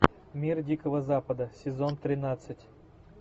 мир дикого запада сезон тринадцать